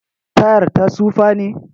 Tayar ta tsufa ne?